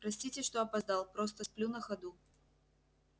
простите что опоздал просто сплю на ходу